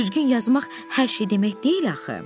Düzgün yazmaq hər şey demək deyil axı.